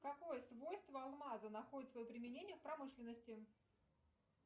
какое свойство алмаза находит свое применение в промышленности